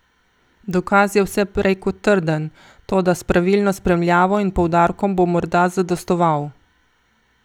Dokaz je vse prej kot trden, toda s pravilno spremljavo in poudarkom bo morda zadostoval.